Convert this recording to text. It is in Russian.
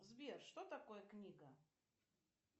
сбер что такое книга